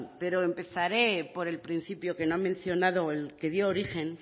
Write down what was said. pero empezaré por el principio que no ha mencionado el que dio origen